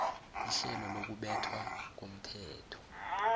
ihlelo lokubethwa komthetho